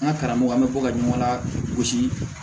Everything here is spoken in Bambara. An ka karamɔgɔ bɛ bɔ ka ɲɔgɔn lagosi